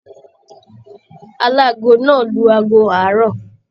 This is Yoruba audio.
Aláàgo náà lù aago àárọ̀.